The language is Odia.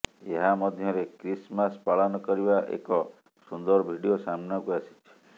ଏହା ମଧ୍ୟରେ କ୍ରିସମାସ ପାଳନ କରିବା ଏକ ସୁନ୍ଦର ଭିଡିଓ ସାମ୍ନାକୁ ଆସିଛି